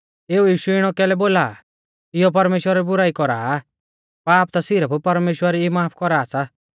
एऊ यीशु इणौ कैलै बोला आ इयौ परमेश्‍वरा री बुराई कौरा आ पाप ता सिरफ परमेश्‍वर ई माफ कौरा सा